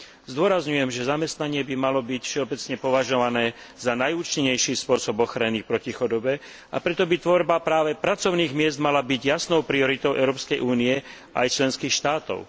Zdôrazňujem, že zamestnanie by malo byť všeobecne považované za najúčinnejší spôsob ochrany proti chudobe, a preto by tvorba práve pracovných miest mala byť jasnou prioritou Európskej únie aj členských štátov.